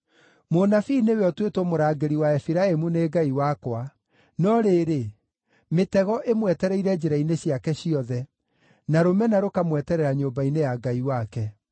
Mũnabii nĩwe ũtuĩtwo mũrangĩri wa Efiraimu nĩ Ngai wakwa; no rĩrĩ, mĩtego ĩmwetereire njĩra-inĩ ciake ciothe, na rũmena rũkamweterera nyũmba-inĩ ya Ngai wake.